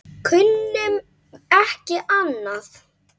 Kunnum ekki annað.